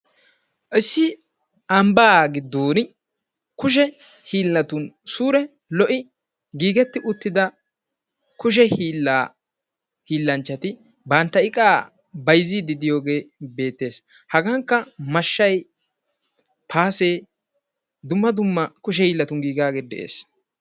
Issi ambbaa giddon kushshe oosotun suure lo'i giigi uttida kushshe hiillaa hiilanchchati bantta iqaa bayzziidi diyoogee beettees. hagankka mashshay paasee dumma dumm kushshe hiillatun giigaagee de'ees.